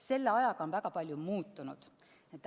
Selle ajaga on väga palju muutunud.